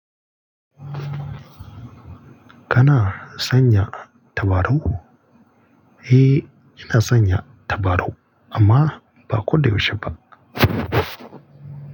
Kana sanya tabarau? Eh ina sanya tabarau amma ba ko da yaushe ba.